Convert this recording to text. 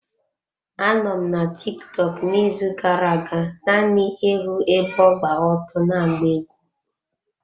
Anọ m na Tiktọk n'izu gara-aga naanị ịhụ ebe ọ gba ọtọ na-agba egwú.